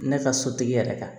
Ne ka sotigi yɛrɛ ka